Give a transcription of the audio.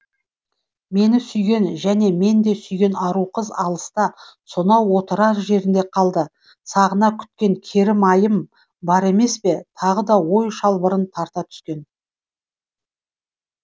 мені сүйген және мен де сүйген ару қыз алыста сонау отырар жерінде қалды сағына күткен керім айым бар емес пе тағы да ой шылбырын тарта түскен